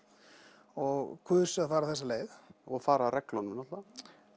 og kusu að fara þessa leið og fara að reglunum náttúrulega